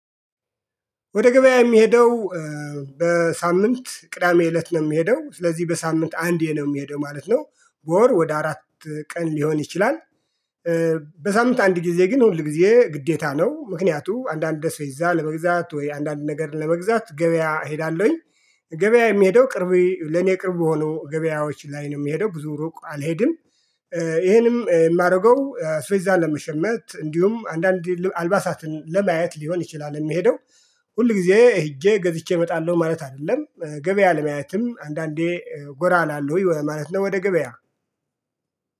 ወደ ገበያ የሚሄደው በሳምንት ቅዳሜ እለት ነው የሚሄደው ስለዚህ በሳምንት አንዴ ነው የሚሄደው ማለት ነው በወር ወደ አራት ቀን ሊሆን ይችላል። በሳምንት አንድ ጊዜ ግን ሁል ጊዜ ግዴታ ነው። ምክንያቱም አንዳንድ አስቤዛ ለመግዛት ወይ አንዳንድ ነገር ለመግዛት ገበያ እሄዳለሁኝ። ገበያ የሚሄደው ቅርብ ለኔ ቅርብ የሆኑ ገበያዎች ላይ ነው የሚሄደው ብዙ ሩቅ አልሄድም። ይሄንም የማደርገው አስቤዛ ለመሸመት እንዲሁም አንዳንድ አልባሳትን ለማየት ሊሆን ይችላል የሚሄደው። ሁል ጊዜ ሄጄ ገዝቼ እመጣለሁ ማለት አይደለም ገበያ ለማየትም አንዳንዴ ጎራ እላለሁ ወይ ማለት ነው። ወደ ገበያ